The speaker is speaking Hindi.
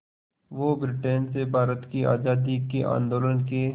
वो ब्रिटेन से भारत की आज़ादी के आंदोलन के